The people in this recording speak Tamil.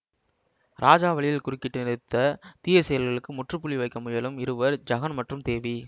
ராஜா வழியில் குறுக்கிட்டு நிறுத்த தீய செயல்களுக்கு முற்றுப்புள்ளி வைக்க முயலும் இருவர் ஜகன் மற்றும் தேவி